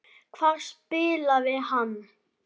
Hvar spilaði hann?